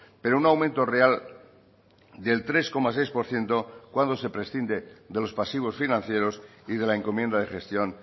pero un aumento real del tres coma seis por ciento cuando se prescinde de los pasivos financieros y de la encomienda de gestión